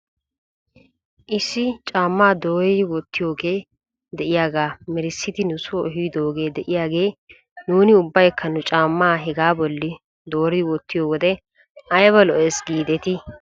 Issi caammaa dooridi wottiyoogee de'iyaagaa merissidi nusoo ehidoogee de'eyaagee nuuni ubbaykka nu caamma hegaa bolla doori wottiyoo wode ayba lo'es giidetii?